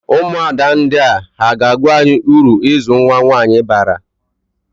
Ụmụada ndia ha ga-agwa anyị ụrụ ịzụ nwa nwaanyị bara?